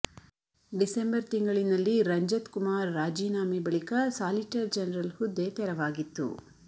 December ತಿಂಗಳಿನಲ್ಲಿ ರಂಜತ್ ಕುಮಾರ್ ರಾಜೀನಾಮೆ ಬಳಿಕ ಸಾಲಿಟರ್ ಜನರಲ್ ಹುದ್ದೆ ತೆರವಾಗಿತ್ತು